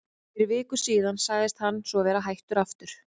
Fyrir viku síðan sagðist hann svo vera hættur aftur.